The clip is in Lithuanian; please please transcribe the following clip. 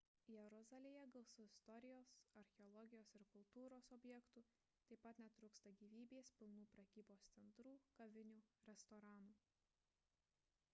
jeruzalėje gausu istorijos archeologijos ir kultūros objektų taip pat netrūksta gyvybės pilnų prekybos centrų kavinių restoranų